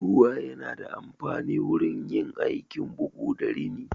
Ruwa yana da amfanin wurin yin aikin bugu da rini.